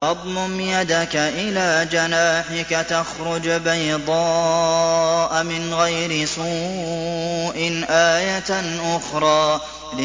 وَاضْمُمْ يَدَكَ إِلَىٰ جَنَاحِكَ تَخْرُجْ بَيْضَاءَ مِنْ غَيْرِ سُوءٍ آيَةً أُخْرَىٰ